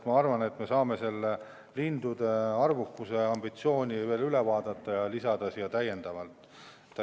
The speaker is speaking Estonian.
Ma arvan, et me saame selle lindude arvukuse teema veel üle vaadata ja selle ambitsiooni täiendavalt lisada.